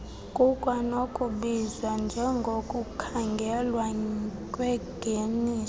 kukwanokubizwa njengokukhangelwa kwengeniso